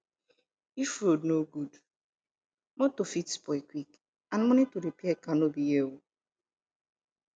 if road no good motor fit spoil quick and money to repair car no be here oo